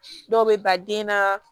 Dɔw bɛ ba den na